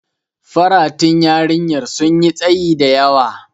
Faratun yarinyar sun yi tsayi da yawa.